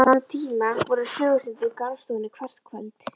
Þann tíma voru sögustundir í garðstofunni hvert kvöld.